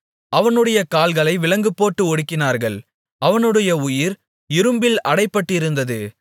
அவனுடைய கால்களை விலங்குபோட்டு ஒடுக்கினார்கள் அவனுடைய உயிர் இரும்பில் அடைபட்டிருந்தது